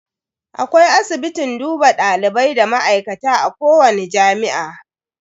Akwai asibitin duba dalibai da ma'aikata a kowani jami'a.